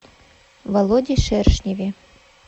володе шершневе